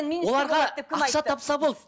оларға ақша тапса болды